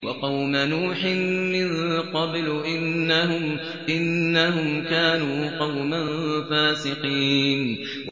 وَقَوْمَ نُوحٍ مِّن قَبْلُ ۖ إِنَّهُمْ كَانُوا قَوْمًا فَاسِقِينَ